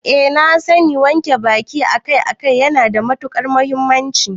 Eh na sani wanke baki akai-akai yana da matukar muhimmanci